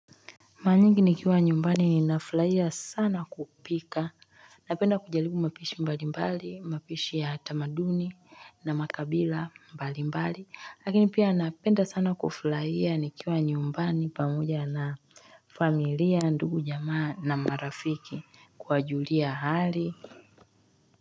Mara nyingi nikiwa nyumbani ninafurahia sana kupika napenda kujaribu mapishi mbalimbali mapishi ya tamaduni na makabila mbalimbali lakini pia napenda sana kufurahia nikiwa nyumbani pamoja na familia ndugu jamaa na marafiki kuwajulia hali.